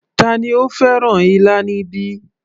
Tani ó fẹ́ràn ilá níbí